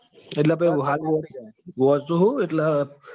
એટલે હાલ મુ વાંચું છું એટલે